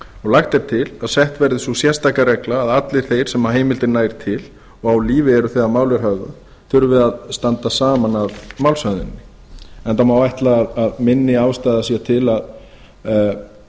lagt er til að sett verði sú sérstaka regla að allir þeir sem heimildin nær til og á lífi eru þegar mál er höfðað þurfi að standa saman að málshöfðuninni enda má ætla að